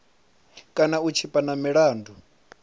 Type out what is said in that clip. kana u tshipa na milandu